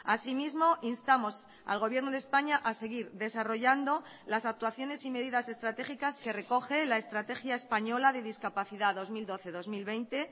asimismo instamos al gobierno de españa a seguir desarrollando las actuaciones y medidas estratégicas que recoge la estrategia española de discapacidad dos mil doce dos mil veinte